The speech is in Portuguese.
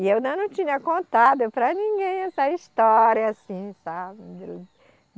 E eu ainda não tinha contado para ninguém essa história assim, sabe?